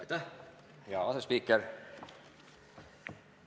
Aitäh, hea asespiiker!